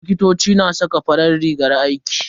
Likitoci na saka farin rigar aiki.